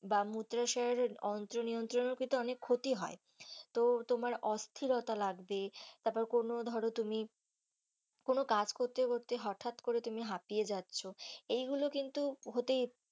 বা মূত্রসারের অন্ত্র নিয়ন্ত্রণও কিন্তু অনেক ক্ষতি হয় তো তোমার অস্থিরতা লাগবে তারপর কোনো ধর তুমি কাজ করতে করতে তুমি হাপিয়ে যাচ্ছ এইগুলো কিন্তু হতেই।